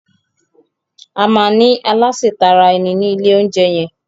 Ama ní Aláse tara ẹni ní ilè oúnjẹ yén